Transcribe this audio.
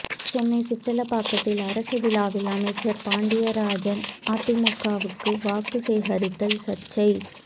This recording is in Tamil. சென்னை சிட்லப்பாக்கத்தில் அரசு விழாவில் அமைச்சர் பாண்டியராஜன் அதிமுகவுக்கு வாக்கு சேகரித்ததால் சர்ச்சை